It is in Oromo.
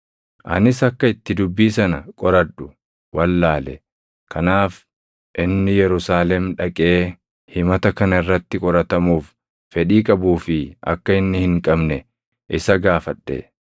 Anis akka itti dubbii sana qoradhu wallaale; kanaaf inni Yerusaalem dhaqee himata kana irratti qoratamuuf fedhii qabuu fi akka inni hin qabne isa gaafadhe.